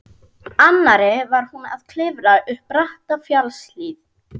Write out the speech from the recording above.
annarri var hún að klifra upp bratta fjallshlíð.